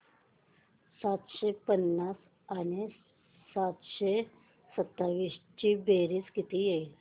सातशे पंचावन्न आणि सातशे सत्तावीस ची बेरीज किती होईल